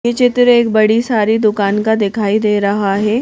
ये चित्र एक बड़ी सारी दुकान का दिखाई दे रहा है।